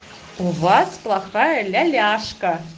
у вас плохая ляляшка